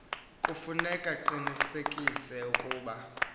kufuneka iqinisekise ukuba